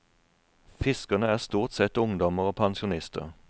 Fiskerne er stort sett ungdommer og pensjonister.